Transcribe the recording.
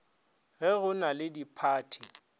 ge go na le diphathi